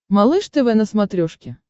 малыш тв на смотрешке